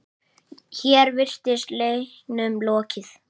Hér virtist leiknum lokið.